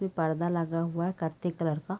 ये पर्दा लगा हुआ है कत्थे कलर का--